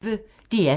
DR P1